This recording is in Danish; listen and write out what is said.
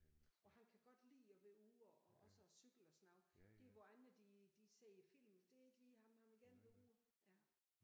Og han kan godt lide at være ude og og også og cykle og sådan noget der hvor andre de de ser film det er ikke lige ham han vil gerne være ude ja